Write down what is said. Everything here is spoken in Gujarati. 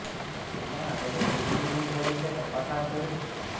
જેના આધારે બી ડિવિઝન પોલીસે તપાસ હાથ ધરી છે